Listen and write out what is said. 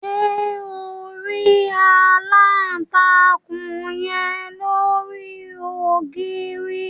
Ṣe on ri alántakùn yen lori ogiri?